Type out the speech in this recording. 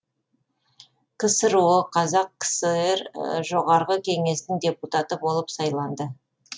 ксро қазақ кср жоғарғы кеңесінің депутаты болып сайланды